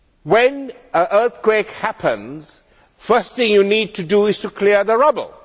When an earthquake happens, the first thing you need to do is to clear the rubble.